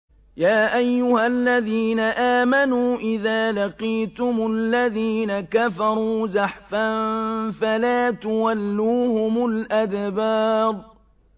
يَا أَيُّهَا الَّذِينَ آمَنُوا إِذَا لَقِيتُمُ الَّذِينَ كَفَرُوا زَحْفًا فَلَا تُوَلُّوهُمُ الْأَدْبَارَ